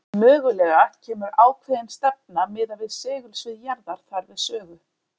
Mögulega kemur ákveðin stefna miðað við segulsvið jarðar þar við sögu.